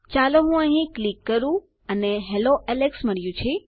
ચાલો હું અહીં ક્લિક કરું અને હેલ્લો એલેક્સ મળ્યું